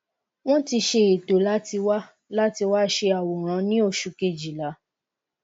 won ti se eto lati wa lati wa se aworan ni osu kejila